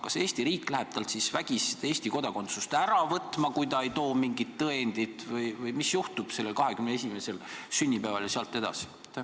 Kas Eesti riik läheb temalt vägisi Eesti kodakondsust ära võtma, kui ta ei too mingit tõendit, või mis siis sellel 21. sünnipäeval ja selle järel juhtub?